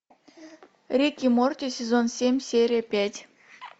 рик и морти сезон семь серия пять